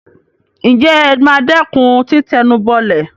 ǹjẹ́ ẹ ma dẹ́kun títẹnubọlẹ̀?